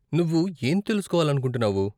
నువ్వు ఏం తెలుసుకోవాలనుకుంటున్నావు?